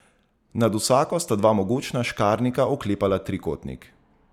Nad vsako sta dva mogočna škarnika oklepala trikotnik.